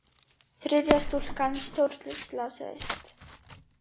Þriðja stúlkan stórslasaðist